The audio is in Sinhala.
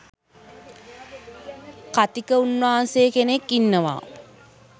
කථික උන්නාන්සෙ කෙනෙක් ඉන්නවා